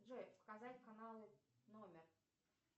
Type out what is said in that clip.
джой показать каналы номер